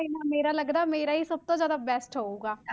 ਤੇ ਨਾ ਮੇਰਾ ਲੱਗਦਾ ਹੈ ਮੇਰਾ ਹੀ ਸਭ ਤੋਂ ਜ਼ਿਆਦਾ best ਹੋਊਗਾ।